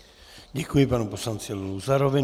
Děkuji panu poslanci Luzarovi.